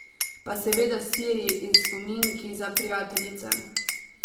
Pa seveda siri in spominki za prijateljice.